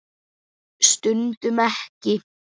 Stundum ekki.